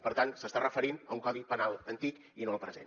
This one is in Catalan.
per tant s’està referint a un codi penal antic i no al present